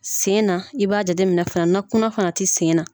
Sen na i b'a jate mina fana na kunna fana tɛ sen na.